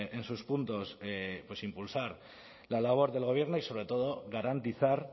en sus puntos impulsar la labor del gobierno y sobre todo garantizar